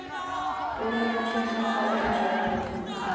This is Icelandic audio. Jólaljósin sett á Ölfusárbrú